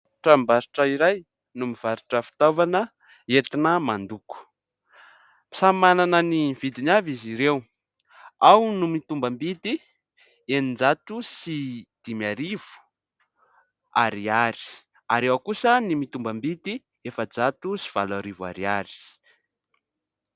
Tranom-barotra iray no mivarotra fitaovana entina mando ko, samy manana ny vidiny avy izy ireo, ao ny mitombambidy eninjato sy dimy arivo ariary ary ao kosa ny mitombambidy efajato sy valo arivo ariary.